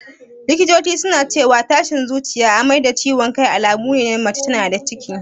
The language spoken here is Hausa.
Likitoci suna cewa tashin zuciya, amai da ciwan kai alamune na mace tana da ciki